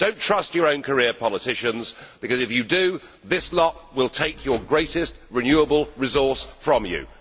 Do not trust your own career politicians, because, if you do, this lot will take your greatest renewable resource from you!